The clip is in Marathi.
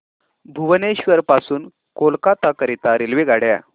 भुवनेश्वर पासून कोलकाता करीता रेल्वेगाड्या